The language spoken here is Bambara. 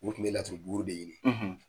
U kun bɛ laturu duuru de ɲini .